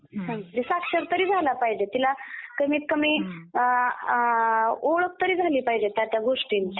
हो, साक्षर तरी झाल पाहिजे. त्याला कमीत कमी अं ओळख तरी झाली पाहिजे त्या त्या गोष्टींची.